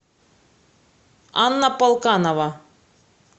анна полканова